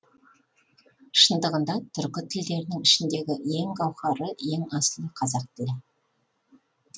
шындығында түркі тілдерінің ішіндегі ең гауһары ең асылы қазақ тілі